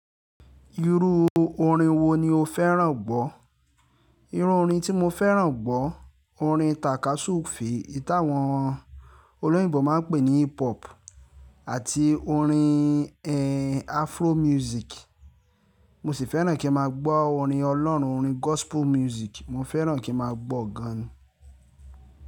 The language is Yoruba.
Irú orin wo ni o fẹ́ràn gbọ́? Irú orin tí mo fẹ́ràn gbọ́, orin tàka súùfù, èyí tí àwọn olóyìnbo máa ń pè ní hip hop àti orin, ẹ́, afro music. Mo sì fẹ́ràn kí n máa gbọ́ orin Ọlọ́run, orin gospel music. Mo fẹ́ràn kí n máa gbọ́ gan.